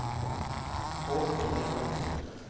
Håkon Engan